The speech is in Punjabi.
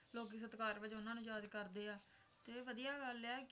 ਲੋਕੀਂ ਸਤਿਕਾਰ ਵਜੋਂ ਉਨ੍ਹਾਂ ਨੂੰ ਯਾਦ ਕਰਦੇ ਹੈਂ ਤੇ ਵਧੀਆ ਗੱਲ ਹੈ ਈ